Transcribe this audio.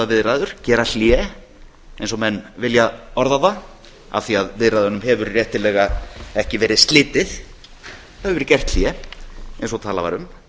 að stöðvaviðræður gera hlé eins og menn vilja orða það af því að viðræðunum hefur réttilega ekki verið slitið það hefur verið gert hlé eins og talað var um